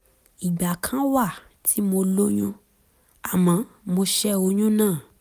ìgbà kan wà tí mo lóyún àmọ́ mo ṣẹ́ oyún náà